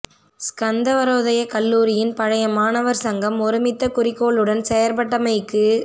ஸ்கந்தவரோதய கல்லூரியின் பழைய மாணவர் சங்கம் ஒருமித்த குறிக்கோளுடன் செயற்பட்டமைக்கு